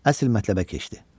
Əsil mətləbə keçdi.